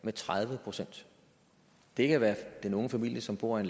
med tredive procent det kan være den unge familie som bor i